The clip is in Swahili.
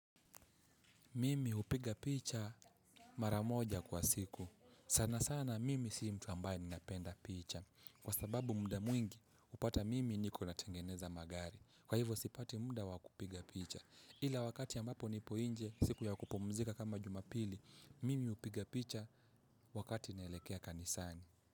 Mimi hupiga picha mara moja kwa siku. Sana sana mimi si mtu ambaye ninapenda picha. Kwa sababu muda mwingi, hupata mimi niko natengeneza magari. Kwa hivyo sipati muda wakupiga picha. Ila wakati ambapo nipo nje, siku ya kupumzika kama jumapili, mimi hupiga picha wakati naelekea kanisani.